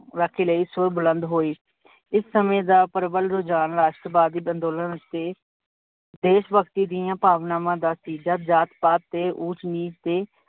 ਰਾਖੀ ਲਈ ਸੂਰ ਬੁਲੰਦ ਹੋਏ ਇਸ ਸਮੇ ਦਾ ਪ੍ਰਬਲ ਰੁਜਾਨ ਰਾਸ਼ਟਰਵਾਦੀ ਅੰਦੋਲਨ ਅਤੇ ਦੇਸ਼ ਭਗਤੀ ਦੀਆ ਭਾਵਨਾਵਾਂ ਦਾ ਨਤੀਜਾ ਜਾਤ ਤੇ ਊਚ ਨੀਚ ਦੀ